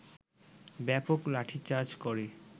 ব্যাপক লাঠিচার্জ করে